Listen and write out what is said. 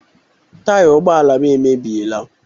Taya ụgbọ ala m emebiela